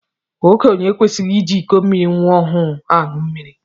Okenye ekwesighi iji ịkọ mmiri nwa ọhụụ aṅụ mmiri.